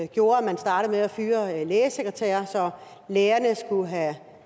gjorde at man startede med at fyre lægesekretærer så lægerne skulle have